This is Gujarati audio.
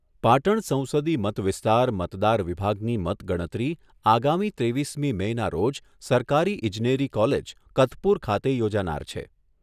પાટણ સંસદી મતવિસ્તાર મતદાર વિભાગની મતગણતરી આગામી ત્રેવીસમી મેના રોજ સરકારી ઇજનેરી કોલેજ, કતપુર ખાતે યોજાનાર છે.